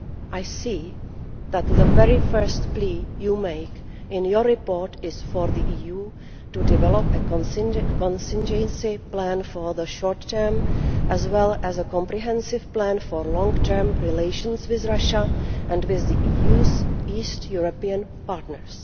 I see that the very first plea you make in your report is for the EU to develop a contingency plan for the short term, as well as a comprehensive plan for long term relations with Russia and with the EU's East European partners.